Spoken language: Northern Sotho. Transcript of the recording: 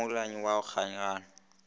ka mollwane wa go kgaoganya